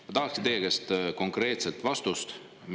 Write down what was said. Ma tahaksin teie käest konkreetset vastust.